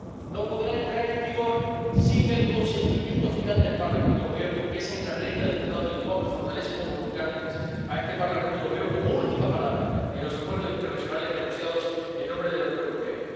no podrá entrar en vigor sin el consentimiento final del Parlamento Europeo, porque esa es la regla del Tratado de Lisboa, que fortalece, como nunca antes, a este Parlamento Europeo como última palabra en los acuerdos internacionales negociados en nombre de la Unión Europea.